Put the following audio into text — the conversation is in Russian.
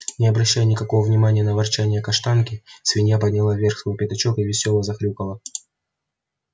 не обращая никакого внимания на ворчанье каштанки свинья подняла вверх свой пятачок и весело захрюкала